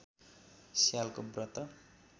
स्यालको व्रत